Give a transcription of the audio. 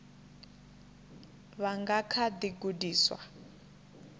vha nga kha ḓi gudiswa